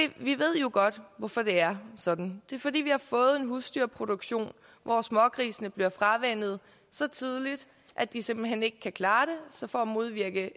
ved jo godt hvorfor det er sådan det er fordi vi har fået en husdyrproduktion hvor smågrisene bliver fravænnet så tidligt at de simpelt hen ikke kan klare det så for at modvirke